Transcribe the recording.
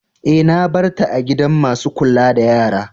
Eh, na bar ta a gidan masun kulla da yara.